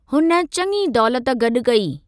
हुन चङी दौलत गॾु कई।